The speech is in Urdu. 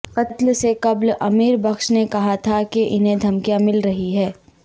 قتل سے قبل امیر بخش نے کہا تھا کہ انہیں دھمکیاں مل رہی ہیں